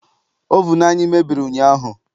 Ovunu anyị mebiri ụnyaahụ.